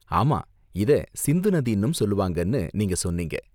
ஆமா, இத சிந்து நதின்னும் சொல்லுவாங்கன்னு நீங்க சொன்னீங்க.